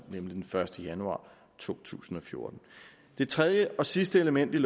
er den første januar to tusind og fjorten det tredje og sidste element i